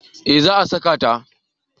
Eh za a saka ta